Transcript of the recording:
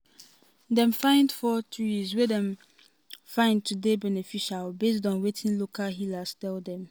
dem find four trees wey dem find to dey beneficial based on wetin local healers tell dem.